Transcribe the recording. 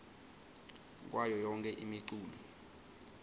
kwayo yonkhe imiculu